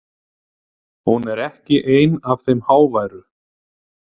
Hún er ekki ein af þeim háværu.